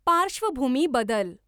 पार्श्वभूमी बदल.